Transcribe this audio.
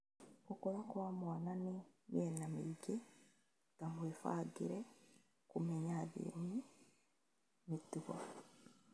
Gũkũra kwa mwana nĩ mĩena mĩingĩ ta mũĩbangĩre, kũmenya, thiomi, mĩtugo